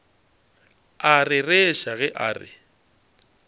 a rereša ge a re